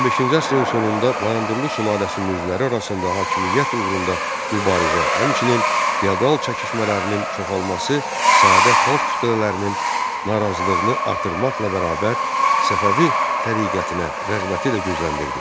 15-ci əsrin sonunda Bayandurlu sülaləsinin üzvləri arasında hakimiyyət uğrunda mübarizə, həmçinin fiodal çəkişmələrinin çoxalması sadə xalq kütlələrinin narazılığını artırmaqla bərabər Səfəvi təriqətinə rəğbəti də gücləndirdi.